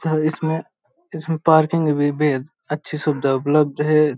अ इसमें इसमें पार्किंग भी बेहद अच्छी सुविधा उपलब्ध है।